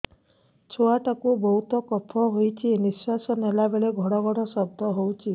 ଛୁଆ ଟା କୁ ବହୁତ କଫ ହୋଇଛି ନିଶ୍ୱାସ ନେଲା ବେଳେ ଘଡ ଘଡ ଶବ୍ଦ ହଉଛି